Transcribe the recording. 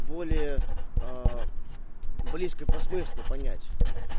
более близкое по смыслу понять